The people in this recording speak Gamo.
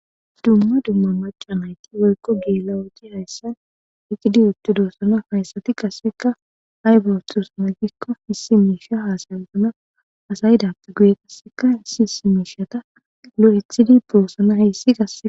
Dumma dumma maca nayti woykko geelawooti hayssan iqidi uttu doossana hayssati qasseka haybatusana gikko issi miisha haasayusana asayidappe guye qasseka hissi isi miishata lo7ithidi boossana heyssi gassea.